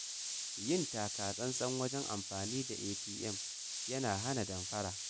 Yin taka tsantsan wajen amfani da ATM yana hana damfara.